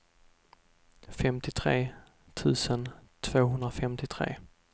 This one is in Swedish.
femtiotre tusen tvåhundrafemtiotre